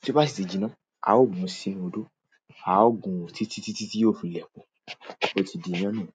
Tí ó bá sì tiìjíná, a ó gun í sínú odó, a ó gun ó títítítí tí yóò fi lẹ̀ pọ̀. Ó ti di ìyán nìyẹn.